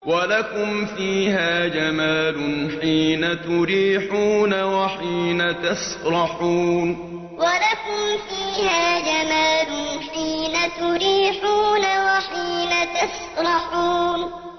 وَلَكُمْ فِيهَا جَمَالٌ حِينَ تُرِيحُونَ وَحِينَ تَسْرَحُونَ وَلَكُمْ فِيهَا جَمَالٌ حِينَ تُرِيحُونَ وَحِينَ تَسْرَحُونَ